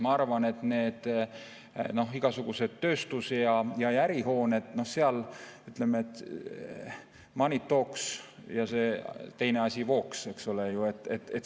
Ma arvan, et igasugused tööstus‑ ja ärihooned, noh seal, ütleme, money talks ja see teine asi walks, eks ole.